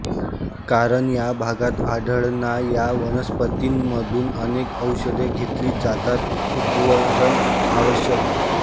कारण या भागात आढळणा या वनस्पतींमधून अनेक औषधे घेतली जातात उद्धरण आवश्यक